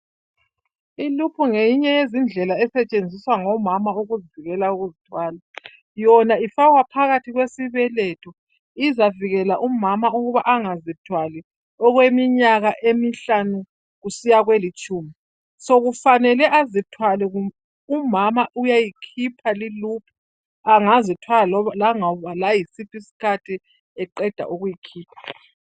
Iluphu ngeyinye indlela esetshenziswa ngomama ukuvikela ukuzithwala. Yona ifakwa phakathi kwesibeletho izavikela umama ukuthi angazithwali okweminyaka emihlanu kusiya kwelitshumi. Sokufanele azithwale umama uyayikhipha iluphu sengazithwala laloba yisiphi isikhathi.